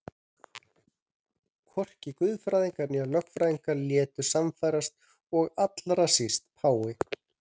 Hvorki guðfræðingar né lögfræðingar létu sannfærast og allra síst páfi.